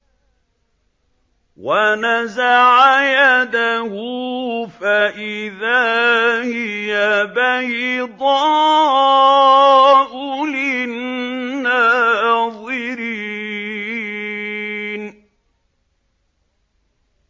وَنَزَعَ يَدَهُ فَإِذَا هِيَ بَيْضَاءُ لِلنَّاظِرِينَ